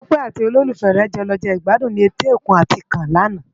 Tope àti ólólúfè re jò lò je igbàdún ni éti ókún Atikàn làná